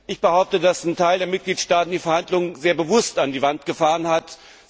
Ich behaupte, dass einige Mitgliedstaaten die Verhandlungen sehr bewusst an die Wand gefahren haben.